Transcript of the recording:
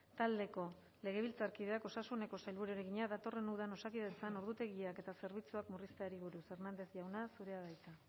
taldeko legebiltzarkideak osasuneko sailburuari egina datorren udan osakidetzan ordutegiak eta zerbitzuak murrizteari buruz hernández jauna zurea da hitza